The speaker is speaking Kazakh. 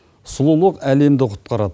сұлулық әлемді құтқарады